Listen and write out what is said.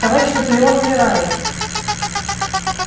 товарищ наполеон умирает